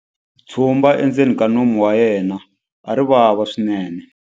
Tshumba endzeni ka nomu wa yena a ri vava swinene.